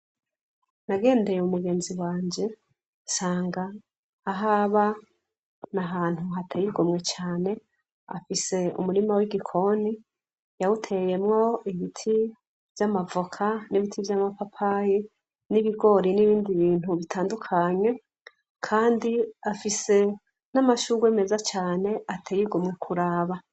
Nagendeye mu mugenzi wanje nsanga ah aba nia ahantu hateyirwomwe cane afise umurima w'igikoni yawuteyemwo ibiti vy'amavoka n'ibiti vy'amapapaye n'ibigori n'ibindi bintu bitandukanye, kandi afise n'amashurwe meza cane ateyigomwe kuraba.